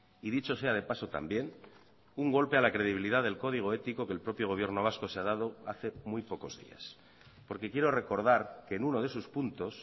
y dicho sea de paso también un golpe a la credibilidad del código ético que el propio gobierno vasco se ha dado hace muy pocos días porque quiero recordar que en uno de sus puntos